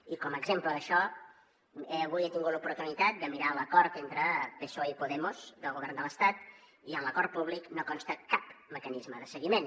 i com a exemple d’això avui he tingut l’oportunitat de mirar l’acord entre psoe i podemos del govern de l’estat i en l’acord públic no consta cap mecanisme de seguiment